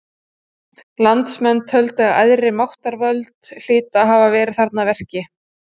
Landsmenn töldu að æðri máttarvöld hlytu að hafa verið þarna að verki.